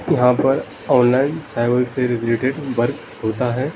यहाँ पर online cyber से रिलेटेड वर्क होता है।